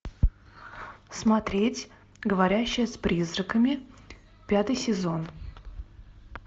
смотреть говорящая с призраками пятый сезон